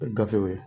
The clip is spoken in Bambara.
O ye gafew ye